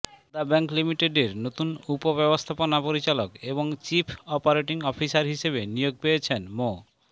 Padma bank লিমিটেডের নতুন উপব্যবস্থাপনা পরিচালক এবং চিফ অপারেটিং অফিসার হিসেবে নিয়োগ পেয়েছেন মো